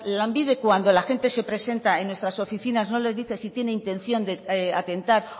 lanbide cuando la gente se presenta en nuestras oficinas no les dice si tiene intención de atentar